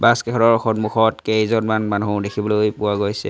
Bus কেইখনৰ সন্মুখত কেইজনমান মানুহো দেখিবলৈ পোৱা গৈছে।